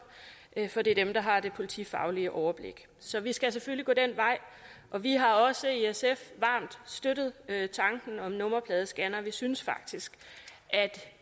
for det er dem der har det politifaglige overblik så vi skal selvfølgelig gå den vej og vi har også i sf varmt støttet tanken om nummerpladescannere vi synes faktisk at